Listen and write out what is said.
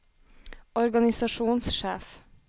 organisasjonssjef